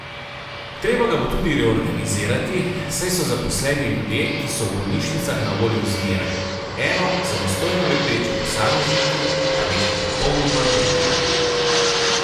Treba ga bo tudi reorganizirati, saj so zaposleni ljudje, ki so v bolnišnicah na voljo zmeraj, eno, samostojno lebdeči posamezniki pa nekaj popolnoma drugega.